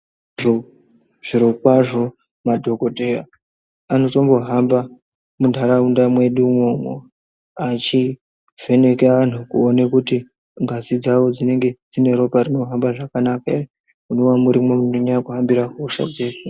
Zviro kwazvo madhokodheya anotombo hamba muntaraunda medu imomo achivheneka antu kuona kuti ngazi dzawo dzine ropa rikuhamba zvakanaka here munova murimo munohambira hosha dzese.